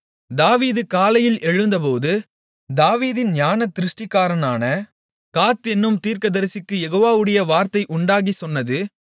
தாவீது காலையில் எழுந்தபோது தாவீதின் ஞானதிருஷ்டிக்காரனான காத் என்னும் தீர்க்கதரிசிக்குக் யெகோவாவுடைய வார்த்தை உண்டாகிச் சொன்னது